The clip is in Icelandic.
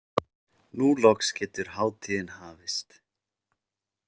Nú loks getur hátíðin hafist.